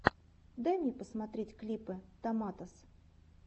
дай мне посмотреть клипы томатос